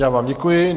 Já vám děkuji.